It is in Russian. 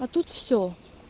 а тут всё